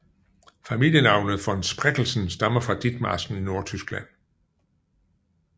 Familienavnet von Spreckelsen stammer fra Ditmarsken i Nordtyskland